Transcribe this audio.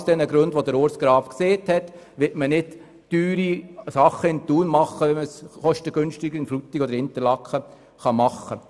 Aus genau den von Grossrat Graf erläuterten Gründen wird man nicht teure Investitionen in Thun tätigen, wenn diese kostengünstiger in Frutigen oder Interlaken möglich sind.